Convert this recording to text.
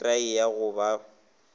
ke therei ya go ba